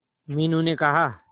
मीनू ने कहा